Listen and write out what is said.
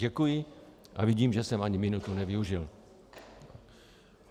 Děkuji a vidím, že jsem ani minutu nevyužil.